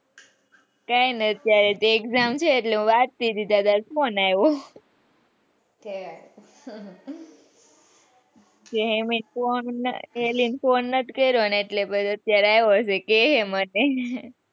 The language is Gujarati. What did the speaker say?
કઈ નથી અત્યારે તો exam છે એટલે વાંચતી હતી તારો phone આવ્યો એમાં એ પેલી ને phone નથી કર્યો ને એટલે કહે મને.